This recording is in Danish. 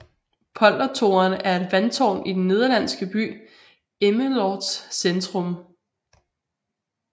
Poldertoren er et vandtårn i den nederlandske by Emmeloords centrum